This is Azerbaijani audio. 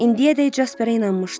İndiyəcək Jasperə inanmışdı.